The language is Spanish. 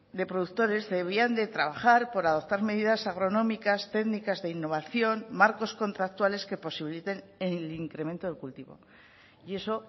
de productores debían de trabajar por adoptar medidas agronómicas técnicas de innovación marcos contractuales que posibiliten el incremento del cultivo y eso